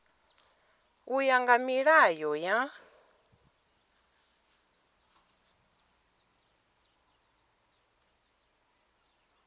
u ya nga milayo ya